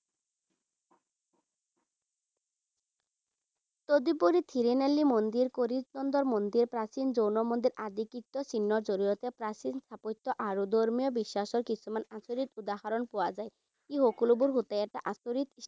তদুপৰি থিৰুনেল্লী মন্দিৰ, কৰিচন্দৰ মন্দিৰে, প্ৰাচীন জৈন মন্দিৰ আদি কীৰ্তিচিহ্নৰ জৰিয়তে প্ৰাচীন স্থাপত্য আৰু ধৰ্মীয় বিশ্বাসৰ কিছুমান আচৰিত উদাহৰণ পোৱা যায়। ই সকলোবোৰ হৈছে এটা আচৰিত